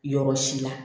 Yɔrɔ si la